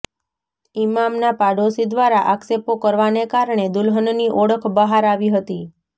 ઇમામના પાડોશી દ્વારા આક્ષેપો કરવાને કારણે દુલ્હનની ઓળખ બહાર આવી હતી